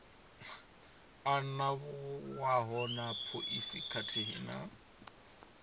anavhuwaho na phoisi khathihi na